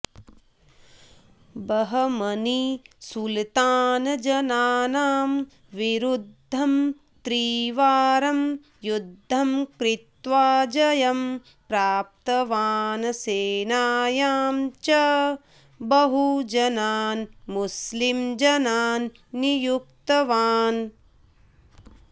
बहमनी सुलतानजनानां विरुध्दम् त्रिवारम् युध्दम् कृत्वा जयम् प्राप्तवान् सेनायाम् च बहुजनान् मुस्लिमजनान् नियुक्तवान्